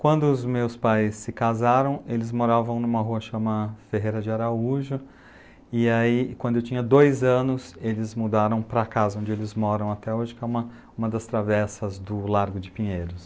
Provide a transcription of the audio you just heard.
Quando os meus pais se casaram, eles moravam numa rua chamada Ferreira de Araújo, e aí, quando eu tinha dois anos, eles mudaram para a casa onde eles moram até hoje, que é uma das travessas do Largo de Pinheiros.